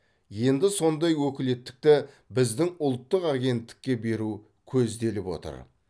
енді сондай өкілеттікті біздің ұлттық агенттікке беру көзделіп отыр